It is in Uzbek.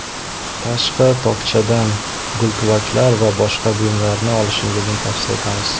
Tashqi tokchadan gultuvaklar va boshqa buyumlarni olishingizni tavsiya etamiz.